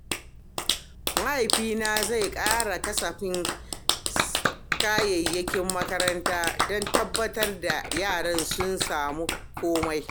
Mahaifi zai ƙara kasafin kayayyakin makaranta don tabbatar da yaran sun samu komai.